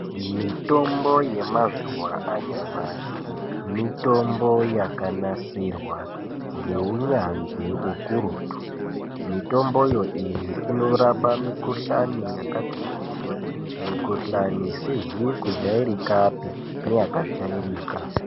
Mitombo yemazuwa anyamashi mitombo yakanasirwa ngeunyanzvi ukurutu, mitomboyo inorapa mikuhlani yakati kuti mikuhlani isizi kujairikapi neyakajairika.